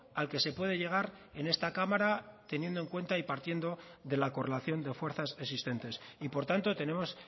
al que se puede llegar en esta cámara teniendo en cuanta y partiendo de la correlación de fuerzas existentes y por tanto tenemos